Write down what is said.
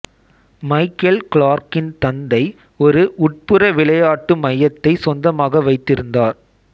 Michael கிளார்க்கின் தந்தை ஒரு உட்புற விளையாட்டு மையத்தை சொந்தமாக வைத்திருந்தார்